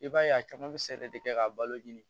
I b'a ye a caman bɛ sɛnɛ de kɛ ka balo ɲini